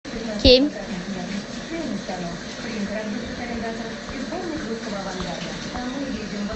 кемь